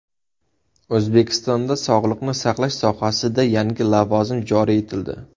O‘zbekistonda sog‘liqni saqlash sohasida yangi lavozim joriy etildi.